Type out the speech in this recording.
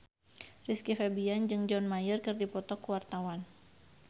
Rizky Febian jeung John Mayer keur dipoto ku wartawan